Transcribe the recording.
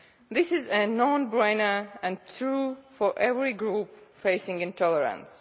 This is a no brainer and true for every group facing intolerance.